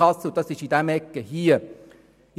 » Sie befinden sich in dieser Ecke des Saals.